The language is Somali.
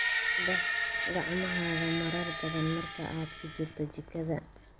Dhaq gacmahaaga marar badan marka aad ku jirto jikada.